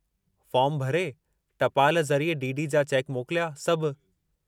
Form भरे, टपाल ज़रिए डी. डी. जा चैक मोकिलिया, सभु।